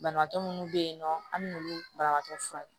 Banabaatɔ munnu be yen nɔ an bi n'olu banakɔtu fura kɛ